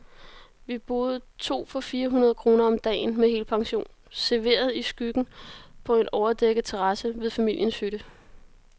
Vi boede to for fire hundrede kroner om dagen, med helpension, serveret i skyggen på en overdækket terrasse ved familiens hytte.